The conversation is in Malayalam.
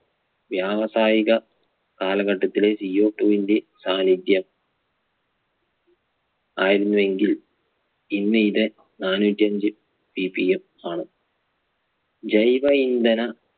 വ്യാവസായിക കാലഘട്ടത്തിലെ Co two വിന്റെ സാന്നിധ്യം ആയിരുന്നുവെങ്കിൽ ഇന്ന് ഇത് നാനൂറ്റ് അഞ്ച് CPF ആണ്. ജൈവ ഇന്ധന